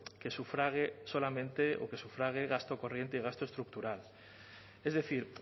que sufrague solamente o que sufrague gasto corriente y gasto estructural es decir